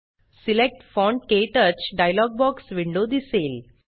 select font - क्टच dialog box window दिसेल